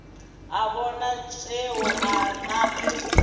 a bona tšeo a nape